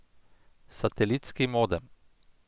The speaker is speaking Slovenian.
Satelitski modem!